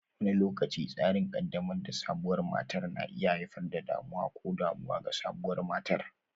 Wani lokaci, tsarin ƙaddamar da sabuwar matar na iya haifar da damuwa ko damuwa ga sabuwar matar.